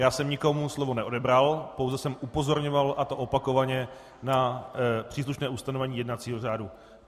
Já jsem nikomu slovo neodebral, pouze jsem upozorňoval, a to opakovaně, na příslušné ustanovení jednacího řádu.